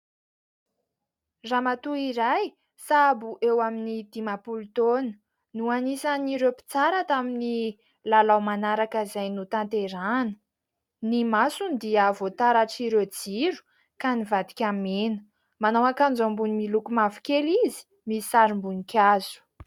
Ramatoa iray sahabo eo amin'ny dimampolo taona, no anisan'ireo mpitsara tamin'ny lalao manaraka izay notanterahina, ny masony dia voataratr' ireo jiro ka nivadika mena, manao ankanjo ambony miloko mavokely izy, misy sarim-boninkazo.